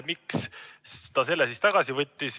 Miks ta selle tagasi võttis?